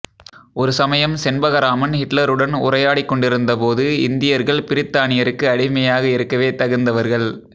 ஒரு சமயம் செண்பகராமன் ஹிட்லருடன் உரையாடிக் கொண்டிருந்த போது இந்தியர்கள் பிரித்தானியருக்கு அடிமையாக இருக்கவே தகுந்தவர்கள்